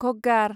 घग्गार